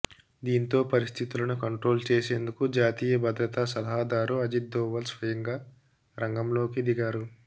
దీంతో పరిస్థితులను కంట్రోల్ చేసేందుకు జాతీయ భద్రతా సలహాదారు అజిత్ దోవల్ స్వయంగా రంగంలోకి దిగారు